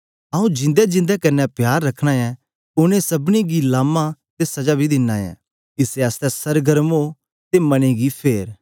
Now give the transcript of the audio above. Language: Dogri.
आऊँ जिंदे जिंदे कन्ने प्यार रखना ऐ उनेंगी सबनीं गी लामा ते सजा बी दिना ऐ इसै आसतै सरगर्म ओ ते मने गी फेर